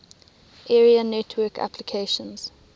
area network applications